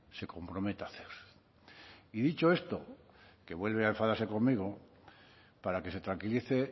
se comprometa a hacer y dicho esto que vuelve a enfadarse conmigo para que se tranquilice